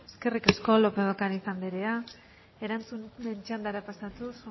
eskerrik asko lópez de ocariz anderea erantzunen txandara pasatuz